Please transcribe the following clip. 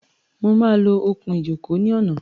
Mo máa lo okùn-ìjókòó ní ọ̀nà.